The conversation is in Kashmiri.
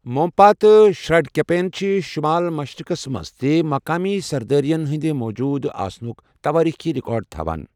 مونپا تہٕ شرڈٗكپین چھِ شٗمال مشرِقس منز تہِ مقٲمی سردٲرِین ہٗندِ موجوٗد آسنٗك تواریخی رِكارڈ تھوان ۔